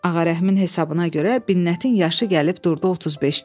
Ağa Rəhimin hesabına görə Binnətin yaşı gəlib durdu 35-də.